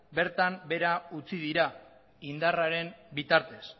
bertan behera utzi dira indarraren bitartez